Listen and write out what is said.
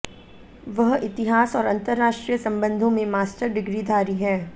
वह इतिहास और अंतरराष्ट्रीय संबंधों में मास्टर डिग्रीधारी हैं